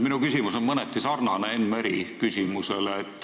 Minu küsimus on mõneti sarnane Enn Meri küsimusega.